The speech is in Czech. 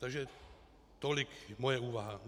Takže tolik moje úvaha.